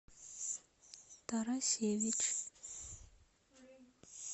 тарасевич